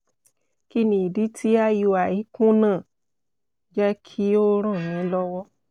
kí ni idi ti iui kuna?jẹ ki o ran mi lọwọ